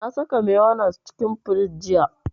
Na saka mayonnaise cikin firiji jiya